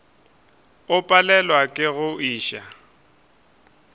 o palelwa ke go iša